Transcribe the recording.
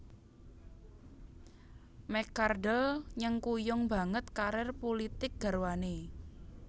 McCardle nyengkuyung banget karir pulitik garwané